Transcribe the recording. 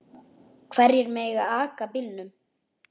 Hverjir mega aka bílnum?